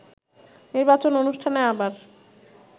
নির্বাচন অনুষ্ঠানে আবার